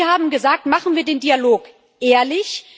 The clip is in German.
Denn Sie haben gesagt Machen wir den Dialog ehrlich.